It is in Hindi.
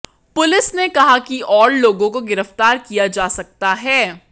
पुलिस ने कहा कि और लोगों को गिरफ्तार किया जा सकता है